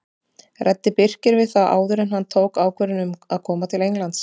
Ræddi Birkir við þá áður en hann tók ákvörðun um að koma til Englands?